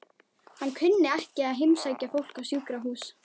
Hann kunni ekki að heimsækja fólk á sjúkrahús.